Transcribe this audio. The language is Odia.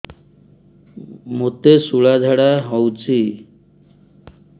ମୋତେ ଶୂଳା ଝାଡ଼ା ହଉଚି